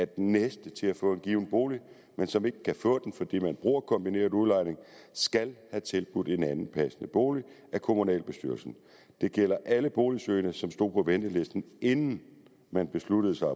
den næste til at få en given bolig men som ikke kan få den fordi man bruger kombineret udlejning skal have tilbudt en anden passende bolig af kommunalbestyrelsen det gælder alle boligsøgende som stod på ventelisten inden man besluttede sig